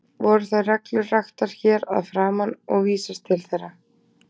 Voru þær reglur raktar hér að framan og vísast til þeirra.